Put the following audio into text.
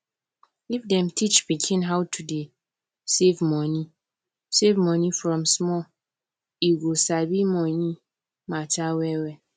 if dem teach pikin how to dey save money save money from small e go sabi money mata well well